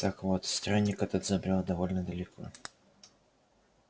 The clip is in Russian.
так вот странник этот забрёл довольно далеко